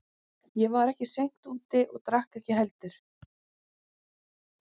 Ég var ekki seint úti og drakk ekki heldur.